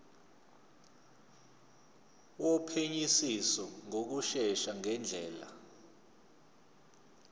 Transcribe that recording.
wophenyisiso ngokushesha ngendlela